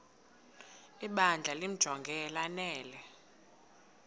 ibandla limjonge lanele